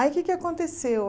Aí o que é que aconteceu?